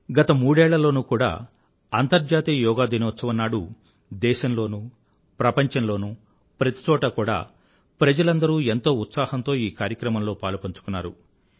గత మూడేళ్ళ లోనూ కూడా అంతర్జాతీయ యోగా దినోత్సవం నాడు దేశం లోనూ ప్రపంచంలోనూ ప్రతి చోటా కూడా ప్రజలందరూ ఎంతో ఉత్సాహంతో ఈ కార్యక్రమంలో పాలుపంచుకున్నారు